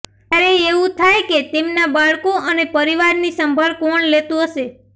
ત્યારે એવું થાય કે તેમના બાળકો અને પરિવારની સંભાળ કોણ લેતું હશે